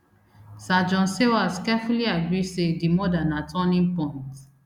sir john sawers carefully agree say di murder na turning point